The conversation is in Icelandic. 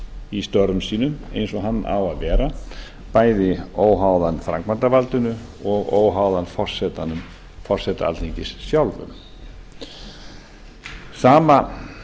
í störfum sínum eins og hann á að vera bæði óháðan framkvæmdarvaldinu og óháðan forseta alþingis sjálfum sama